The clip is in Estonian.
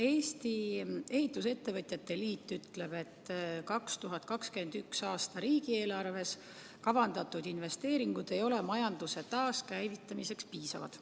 Eesti Ehitusettevõtjate Liit ütleb, et 2021. aasta riigieelarves kavandatud investeeringud ei ole majanduse taaskäivitamiseks piisavad.